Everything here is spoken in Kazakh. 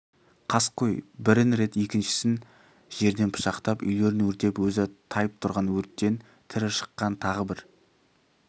қаскөй бірін рет екіншісін жерден пышақтап үйлерін өртеп өзі тайып тұрған өрттен тірі шыққан тағы бір